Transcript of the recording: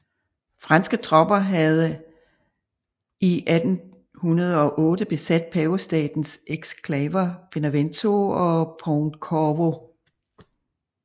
Franske tropper havde 1808 besat Pavestatens eksklaver Benevento og Pontecorvo